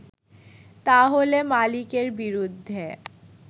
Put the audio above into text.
তাহলে মালিকের বিরুদ্ধে